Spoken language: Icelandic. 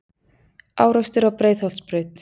Árekstur á Breiðholtsbraut